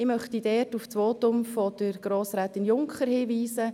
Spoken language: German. Ich möchte auf das Votum von Grossrätin Junker hinweisen: